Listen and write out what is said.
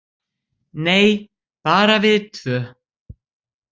Nei, bara við tvö.